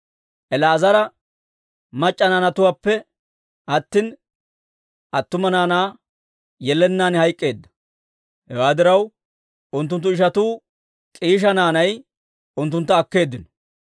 El"aazare mac'c'a naanatuwaappe attina, attuma naanaa yelennaan hayk'k'eedda. Hewaa diraw, unttunttu ishatuu K'iisha naanay unttuntta akkeeddino.